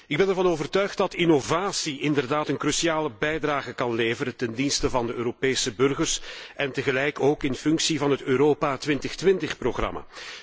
Ik ben ervan overtuigd dat innovatie inderdaad een cruciale bijdrage kan leveren ten dienste van de Europese burgers en tegelijk ook in functie van het Europa 2020 programma.